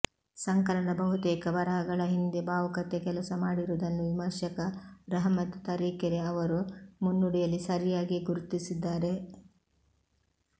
ಸಂಕಲನದ ಬಹುತೇಕ ಬರಹಗಳ ಹಿಂದೆ ಭಾವುಕತೆ ಕೆಲಸ ಮಾಡಿರುವುದನ್ನು ವಿಮರ್ಶಕ ರಹಮತ್ ತರೀಕೆರೆ ಅವರು ಮುನ್ನುಡಿಯಲ್ಲಿ ಸರಿಯಾಗಿಯೇ ಗುರ್ತಿಸಿದ್ದಾರೆ